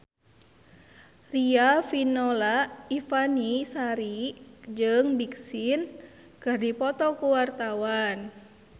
Riafinola Ifani Sari jeung Big Sean keur dipoto ku wartawan